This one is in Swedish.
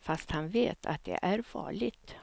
fast han vet att det är farligt.